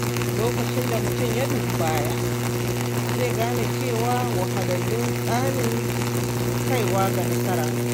Lokacin da mutum ya dubi baya, zai gane cewa wahalhalu tsanin kaiwa ga nasara ne.